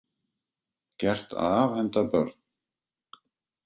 Gert að afhenda börn